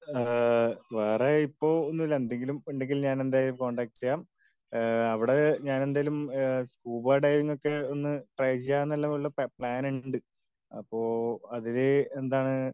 ഏഹ് വേറെ ഇപ്പൊ ഒന്നുല്ല. എന്തെങ്കിലും ഉണ്ടെങ്കിൽ ഞാൻ എന്തായാലും കോണ്ടാക്ട് ചെയ്യാം. ഈഹ് അവിടെ ഞാൻ എന്തയാലും ഈഹ് സ്കൂബ ഡൈവിംഗ് ഒക്കെ ഒന്ന് ട്രൈ ചെയ്യാം എന്നുള്ള പ്ലാൻ ഉണ്ട് അപ്പൊ അതിന് എന്താണ്,